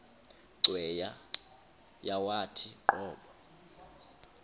cweya yawathi qobo